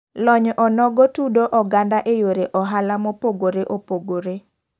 Lony onogo tudo oganda e yore ohala mopogore opogore.